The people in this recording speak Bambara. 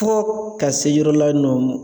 Fo ka se yɔrɔ la nɔ